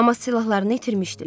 Amma silahlarını itirmişdilər.